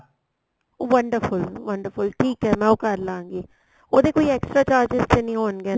wonderful wonderful ਠੀਕ ਏ ਮੈਂ ਉਹ ਕਰਲਾਗੀ ਉਹਦੇ ਕੋਈ extra charges ਤੇ ਨਹੀਂ ਹੋਣਗੇ ਨਾ